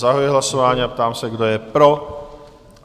Zahajuji hlasování a ptám se, kdo je pro?